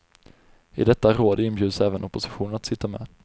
I detta råd inbjuds även oppositionen att sitta med.